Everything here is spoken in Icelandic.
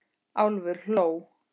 Álfur hló.